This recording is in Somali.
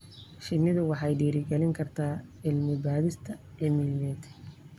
Shinnidu waxay dhiirigelin kartaa cilmi-baadhis cilmiyeed.